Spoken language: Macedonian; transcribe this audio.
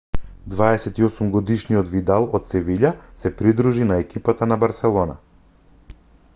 28-годишниот видал од севиља се придружи на екипата на барселона